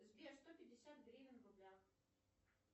сбер сто пятьдесят гривен в рублях